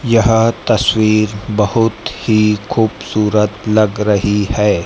यह तस्वीर बहुत ही खूबसूरत लग रही है।